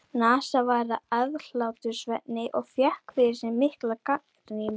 NASA varð að aðhlátursefni og fékk yfir sig mikla gagnrýni.